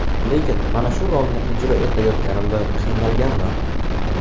Lekin mana shu rolni ijro etayotganimda qiynalganman.